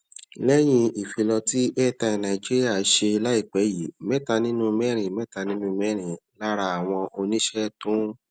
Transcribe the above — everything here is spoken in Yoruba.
lẹyìn ìfilọ tí airtel nigeria ṣe láìpé yìí mẹta nínú mẹrin mẹta nínú mẹrin lára àwọn oníṣẹ tó ń